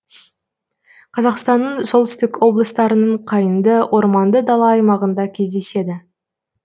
қазақстанның солтүстік облыстарының қайыңды орманды дала аймағында кездеседі